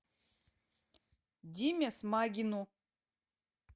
диме смагину